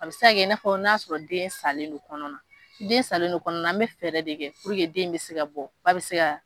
A bɛ se kɛ i n'a fɔ n'a sɔrɔ den salen de kɔnɔ na . Ni den salen de kɔnɔ na, an bɛ fɛɛrɛ de kɛ puruke den in bɛ se ka bɔ, ba bɛ se ka